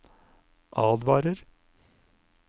advarer